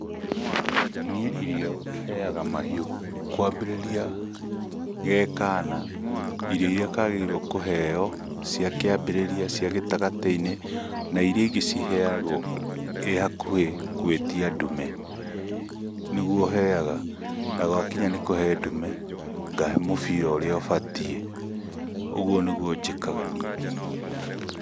Nĩ irio heaga mahiũ kwambĩrĩria gekana irio iria kagĩrĩirwo kuheo cia kĩambĩrĩria cia gĩtagatĩ~inĩ na iria ingĩ ciheagwo ĩhakuhĩ gũĩtia ndume, niguo heaga. Nagwakinya nĩ kũhe ndume ngahe mubira ũrĩa ũbatie ũguo niguo njĩkaga niĩ.